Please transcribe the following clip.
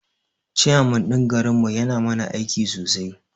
Chairman ɗin garin mu yana mana aiki sosai